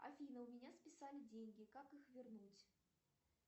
афина у меня списали деньги как их вернуть